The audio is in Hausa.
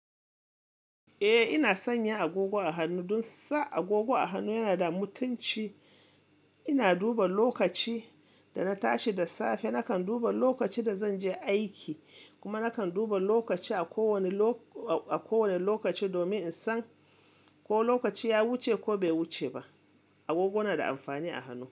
Eh, ina sanya agogo a hannu dun sa agogo a hannu yana da mutunci. Ina duba lokaci da na tashi da safe, nakan duba lokaci da zan je aiki kuma nakan duba lokaci a ko wani, ko wane lokaci domin in san ko lokaci ya wuce ko bai wuce ba. Agogo na da amfani a hannu.